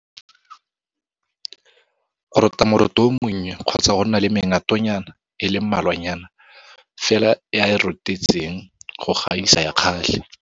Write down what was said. Go rota moroto o monnye kgotsa go nna le mengatonyana e le mmalwanyana fela e a e rotetseng go gaisa ya ka gale.